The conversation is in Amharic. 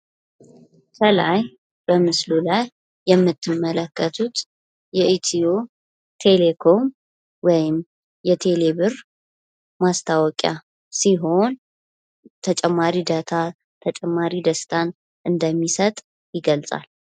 ከላይ በምስሉ ላይ የምንትመከቱት የ ኢትዮ ቴሌኮም ወይም የቴሌብር ማስታወቂያ ሲሆን፤ ተጨማሪ ዳታ፣ ተጨማሪ ደስታን እንደሚሰጥ ይገልጻል።